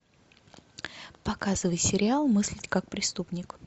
показывай сериал мыслить как преступник